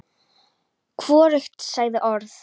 Hvorugt sagði orð.